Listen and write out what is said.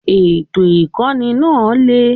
Ètò Ìkọ́ni náà le.